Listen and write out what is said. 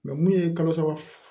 mun ye kalo saba